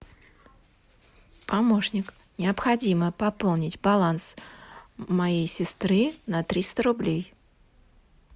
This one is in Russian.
помощник необходимо пополнить баланс моей сестры на триста рублей